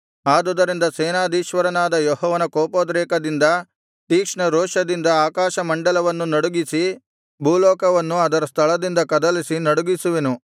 ಆದುದರಿಂದ ಸೇನಾಧೀಶ್ವರನಾದ ಯೆಹೋವನ ಕೋಪೋದ್ರೇಕದಿಂದ ತೀಕ್ಷ್ಣರೋಷದಿಂದ ಆಕಾಶಮಂಡಲವನ್ನು ನಡುಗಿಸಿ ಭೂಲೋಕವನ್ನು ಅದರ ಸ್ಥಳದಿಂದ ಕದಲಿಸಿ ನಡುಗಿಸುವೆನು